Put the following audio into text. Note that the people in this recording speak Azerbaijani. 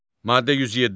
Maddə 107.